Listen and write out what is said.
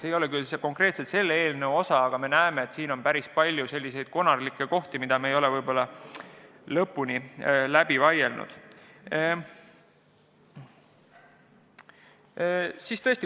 See ei puuduta küll konkreetselt seda eelnõu, aga me näeme, et selles osas on päris palju konarusi, mida me ei ole lõpuni läbi vaielnud.